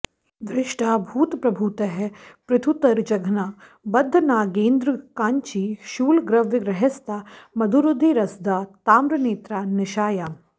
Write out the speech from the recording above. दृष्टा भूतप्रभूतैः पृथुतरजघना बद्धनागेन्द्र काञ्ची शूलग्रव्यग्रहस्ता मधुरुधिरसदा ताम्रनेत्रा निशायाम्